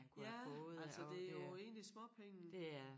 Ja altså det jo egentlig småpenge